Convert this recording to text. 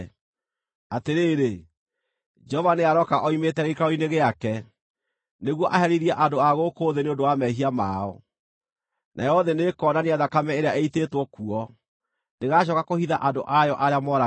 Atĩrĩrĩ, Jehova nĩarooka oimĩte gĩikaro-inĩ gĩake, nĩguo aherithie andũ a gũkũ thĩ nĩ ũndũ wa mehia mao. Nayo thĩ nĩĩkonania thakame ĩrĩa ĩitĩtwo kuo; ndĩgaacooka kũhitha andũ ayo arĩa moragĩtwo.